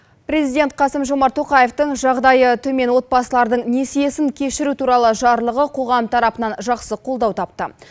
президент қасым жомарт тоқаевтың жағдайы төмен отбасылардың несиесін кешіру туралы жарлығы қоғам тарапынан жақсы қолдау тапты